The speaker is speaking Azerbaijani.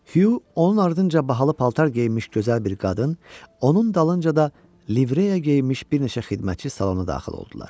Hugh onun ardınca bahalı paltar geyinmiş gözəl bir qadın, onun dalınca da livreya geyinmiş bir neçə xidmətçi salona daxil oldular.